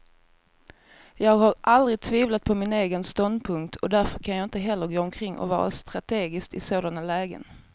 Jag har aldrig tvivlat på min egen ståndpunkt, och därför kan jag inte heller gå omkring och vara strategisk i sådana lägen.